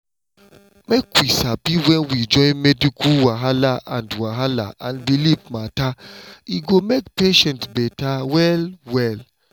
make we sabi when we join medical wahala and wahala and belief matter e go make patient better well well.